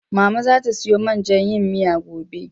Mama zata siyo man jan yin miyar gobe.